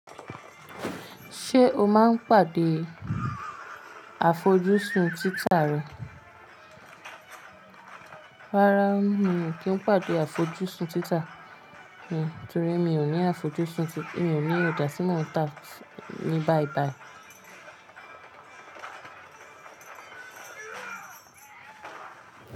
Ṣé o máa ń pàdé àfojúsùn títa rẹ? Rárá mi ò kí ń pàdé àfojúsùn títa mi torí mi ò ní àfojúsùn títa, mi ò ní òjà ti mo ń ta ni báìbàì.